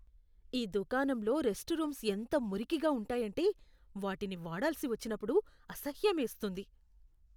ఈ దుకాణంలో rest rooms ఎంత మురికిగా ఉంటాయంటే, వాటిని వాడాల్సి వచ్చినప్పుడు అసహ్యమేస్తుంది.